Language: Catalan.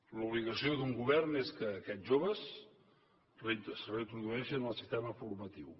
l’obligació d’un govern és que aquests joves es reintrodueixin en el sistema formatiu